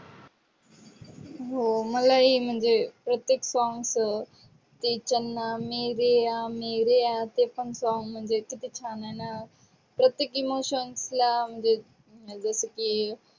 हो मलाही म्हणजे प्रत्येक songs चन्ना मेरेया मेरेया ते पण song म्हणजे किती छान आहे ना प्रत्येकी मसोन्तला म्हणजे जस की